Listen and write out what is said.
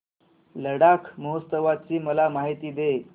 लडाख महोत्सवाची मला माहिती दे